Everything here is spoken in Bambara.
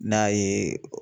Ne y'a ye